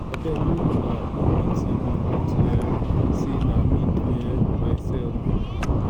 abeg make una no pity me unto um say na me do um myself